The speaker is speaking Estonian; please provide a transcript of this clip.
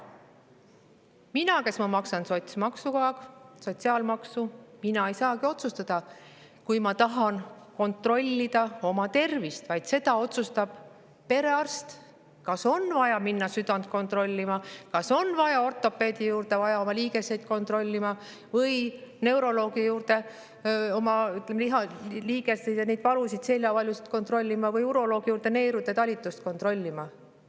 Mina, kes ma maksan sotsiaalmaksu, ei saagi otsustada, kas ma kontrollida oma tervist, vaid perearst otsustab, kas on vaja minna südant kontrollima, kas on vaja minna ortopeedi juurde liigeseid kontrollima või neuroloogi juurde liigesevalusid, seljavalusid kontrollima või uroloogi juurde neerude talitust kontrollima.